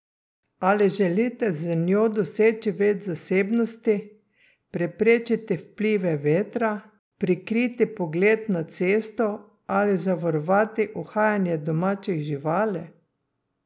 Ali želite z njo doseči več zasebnosti, preprečiti vplive vetra, prikriti pogled na cesto ali zavarovati uhajanje domačih živali?